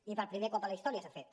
i per primer cop a la història s’ha fet